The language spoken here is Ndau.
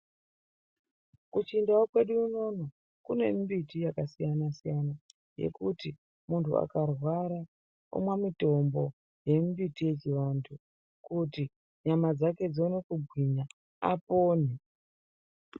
Kuchindau kwedu unono kune mimbiti yakasiyana-siyana yekuti muntu akarwara omwa mutombo yemimbiti yechiantu kuti nyama dzake dzione kugwinya apone.